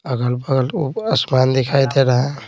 अगल-बगल उपस आसमान दिखाई दे रहा है।